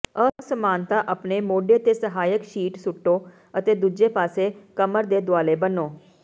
ਅਸਮਾਨਤਾ ਆਪਣੇ ਮੋਢੇ ਤੇ ਸਹਾਇਕ ਸ਼ੀਟ ਸੁੱਟੋ ਅਤੇ ਦੂਜੇ ਪਾਸੇ ਕਮਰ ਦੇ ਦੁਆਲੇ ਬੰਨੋ